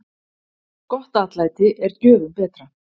Gott atlæti er gjöfum betra.